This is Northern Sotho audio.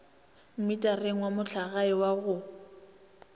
mmitareng wa mohlagae wa go